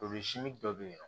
dɔ bɛ yen nɔ